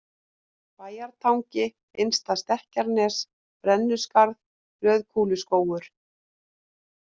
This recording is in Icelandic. Bæjartangi, Innsta-Stekkjarnes, Brennuskarð, Rauðukúluskógur